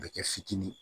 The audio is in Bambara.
A bɛ kɛ fitinin ye